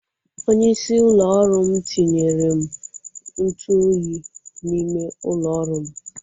Onyeisi ụlọ ọrụ m tinyere m ntụ oyi n'ime ụlọ ọrụ m.